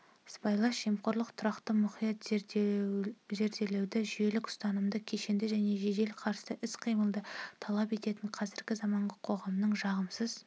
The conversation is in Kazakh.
сыбайлас жемқорлық тұрақты мұқият зерделеуді жүйелік ұстанымды кешенді және жедел қарсы іс-қимылды талап ететін қазіргі заманғы қоғамның жағымсыз